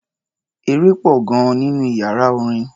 Eré pọ̀ gan-an nínú iyàrá orin.